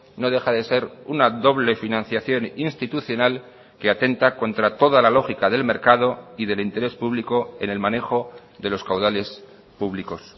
no deja de ser una doble financiación institucional que atenta contra toda la lógica del mercado y del interés público en el manejo de los caudales públicos